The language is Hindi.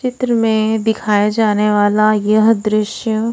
चित्र में दिखाया जाने वाला यह दृश्य--